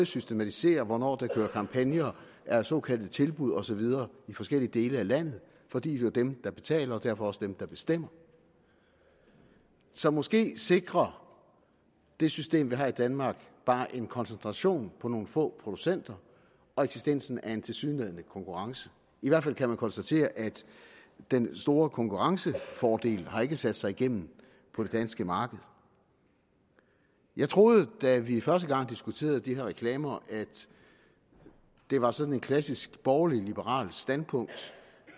systematisere hvornår der kører kampagner er såkaldte tilbud og så videre i forskellige dele af landet for det er jo dem der betaler og derfor også dem der bestemmer så måske sikrer det system vi har i danmark bare en koncentration på nogle få producenter og eksistensen af en tilsyneladende konkurrence i hvert fald kan man konstatere at den store konkurrencefordel har sat sig igennem på det danske marked jeg troede da vi første gang diskuterede de her reklamer at det var sådan et klassisk borgerligt liberalt standpunkt